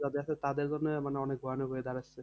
যাদের আছে তাদের জন্য মানে অনেক ভয়ানক হয়ে যাবে।